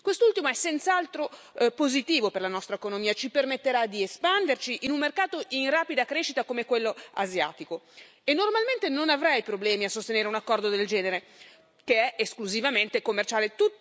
Quest'ultimo è senz'altro positivo per la nostra economia ci permetterà di espanderci in un mercato in rapida crescita come quello asiatico e, normalmente, non avrei problemi a sostenere un accordo del genere che è esclusivamente commerciale.